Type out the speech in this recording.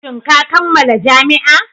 Shin ka kammala jami'a?